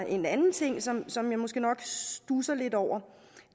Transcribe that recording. en anden ting som som jeg måske nok studser lidt over og